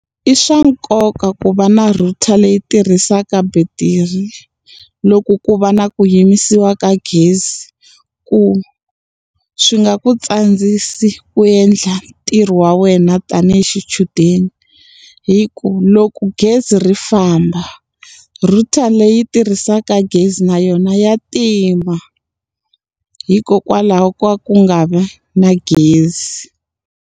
I swa nkoka ku va na router leyi tirhisaka betiri, loko ku va na ku yimisiwa ka gezi. Ku swi nga ku tsandzisi ni ku endla ntirho wa wena yi xichudeni. Hi ku loko gezi ri famba, router leyi tirhisaka gezi na yona ya tima hikokwalaho ka ku nga vi na gezi.